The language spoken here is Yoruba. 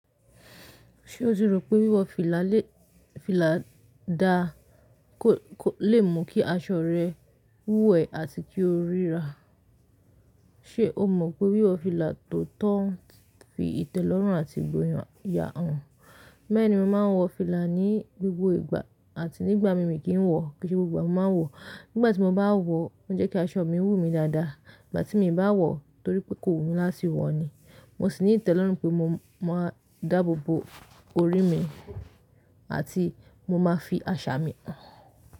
Ṣé o tí rò pé wíwọ fìlà le, fìlà da kò, kò lè mú kí aṣọ rẹ wúẹ̀ àti kí o ríra? Ṣé o mọ pé wíwọ fìlà tó tọ́ ń fi ìtẹ́ lọ́rùn àti ìgboyàn ya hàn? Bẹ́ẹ̀.ni, Mo máa ń wọ fìlà ní gbogbo ìgbà àti nígbà mi mi kì í wọ̀, kì í ṣe gbogbo ìgbà mo máa ń wọ. Nígbà tí mo bá wọ, ó jẹ́ kí aṣọ mi wú mi dáadáa. Ìgbà tí miì bá wọ, torí pé kò wù mí láti wọ̀ ni, mo sì ní ìtẹ́ lọ́rùn pé mo, mo máa dáàbò bo orí mi àti mo máa fi àṣà mi hàn.